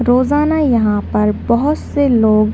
रोज़ाना यहाँ पर बहोत से लोग --